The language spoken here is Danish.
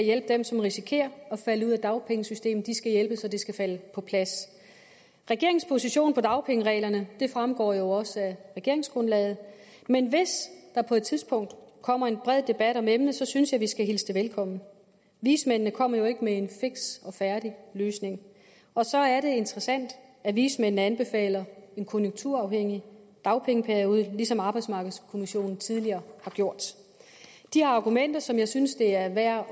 hjælpe dem som risikerer at falde ud af dagpengesystemet de skal hjælpes og det skal falde på plads regeringens position hvad angår dagpengereglerne fremgår jo også af regeringsgrundlaget men hvis der på et tidspunkt kommer en bred debat om emnet synes jeg at vi skal hilse den velkommen vismændene kom jo ikke med en fiks og færdig løsning og så er det interessant at vismændene anbefaler en konjunkturafhængig dagpengeperiode ligesom arbejdsmarkedskommissionen tidligere har gjort de har argumenter som jeg synes det er værd